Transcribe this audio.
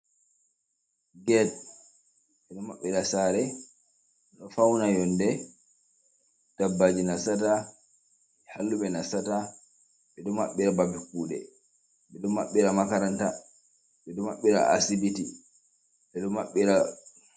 get be do mabbira sare no fauna yonde tabbaji nasata hallube na sata be do mabbira babe kude be do mabbira makaranta be do mabbira asibiti bedo maɓbira